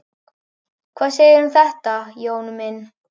Hvað segirðu um þetta, Jón minn?